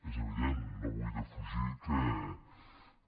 és evident no vull defugir que